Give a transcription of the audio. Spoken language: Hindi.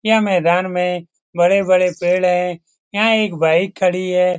यह मैदान में बड़े-बड़े पेड़ हैं यहाँ एक बाइक खड़ी है।